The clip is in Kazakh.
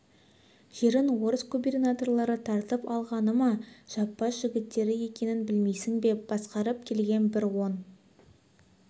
жерін орыс губернаторлары тартып алғаны ма жаппас жігіттері екенін білмейсің бе басқарып келген бір он